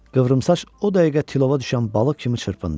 Qıvrımsaç o dəqiqə tilova düşən balıq kimi çırpındı.